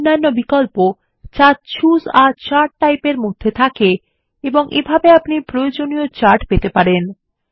এবং অনেক অন্যান্য বিকল্প যা চুসে a চার্ট টাইপ এর মধ্যে থাকে এবং প্রয়োজনীয় চার্ট পেতে পারেন